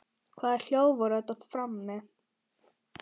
Hvaða hljóð voru þetta frammi?